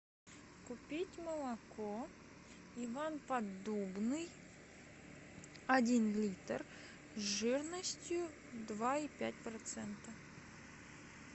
купить молоко иван поддубный один литр жирностью два и пять процента